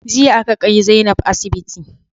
Jiya aka ƙai Zainab asiɓiti